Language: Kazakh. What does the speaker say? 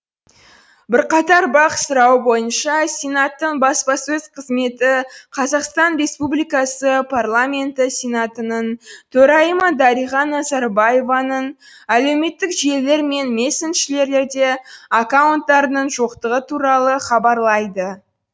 бірқатар бақ сұрауы бойынша сенаттың баспасөз қызметі қазақстан республикасы парламенті сенатының төрайымы дариға назарбаеваның әлеуметтік желілер мен мессенджерледе аккаунттарының жоқтығы туралы хабарлайды